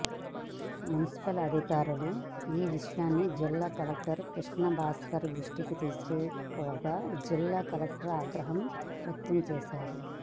municipal అధికారులు ఈ విషయాన్ని జిల్లా కలెక్టర్ కృష్ణ భాస్కర్ దృష్టికి తీసుకుపోగా జిల్లా కలెక్టర్ ఆగ్రహం వ్యక్తం చేశారు